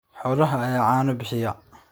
Xoolaha ayaa caano bixiya.